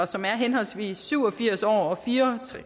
som er henholdsvis syv og firs år og fire